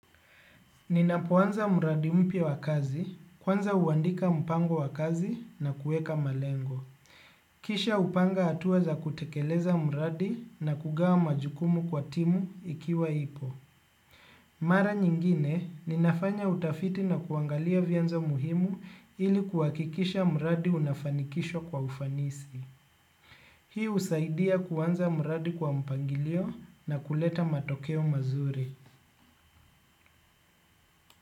Ninapoanza mradi mpya wa kazi, kwanza uandika mpango wa kazi na kuweka malengo. Kisha hupanga hatua za kutekeleza mradi na kugawa majukumu kwa timu ikiwa ipo. Mara nyingine, ninafanya utafiti na kuangalia vyanzo muhimu ili kuhakikisha mradi unafanikishwa kwa ufanisi. Hii husaidia kuanza mradi kwa mpangilio na kuleta matokeo mazuri.